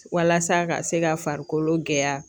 Walasa ka se ka farikolo gɛlɛya.